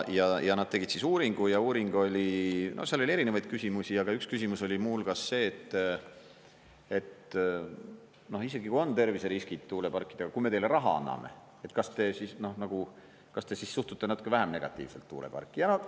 Ja nad tegid uuringu ja uuringus oli seal erinevaid küsimusi ja üks küsimus oli muu hulgas see, et isegi kui on terviseriskid tuuleparkidega, kui me teile raha anname, kas siis suhtute natuke vähem negatiivselt tuuleparki.